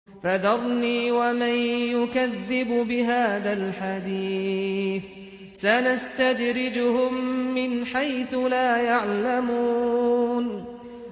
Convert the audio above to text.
فَذَرْنِي وَمَن يُكَذِّبُ بِهَٰذَا الْحَدِيثِ ۖ سَنَسْتَدْرِجُهُم مِّنْ حَيْثُ لَا يَعْلَمُونَ